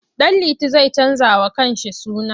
Ɗanliti zai canjawa kansa suna.